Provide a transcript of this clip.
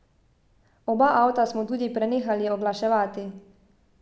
Oba avta smo tudi prenehali oglaševati.